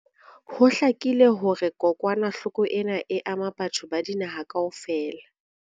Ho hlakile hore kokwanahloko ena e ama batho ba dinaha kaofela.